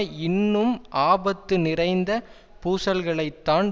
இன்னும் ஆபத்து நிறைந்த பூசல்களைத்தான்